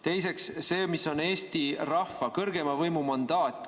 Teiseks see, mis on Eesti rahva, kõrgeima võimu mandaat.